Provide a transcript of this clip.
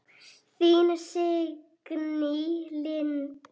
Þín Signý Lind.